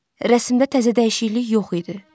Rəsmdə təzə dəyişiklik yox idi.